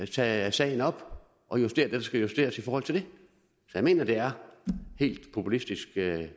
tage sagen op og justere det der skal justeres i forhold til det jeg mener det er helt populistisk